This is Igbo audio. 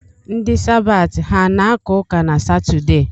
Ndi Sabaati, ha ana-aka ụka na Satọde?